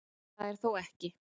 Það er þó ekki